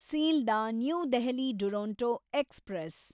Sealdah New Delhi Duronto express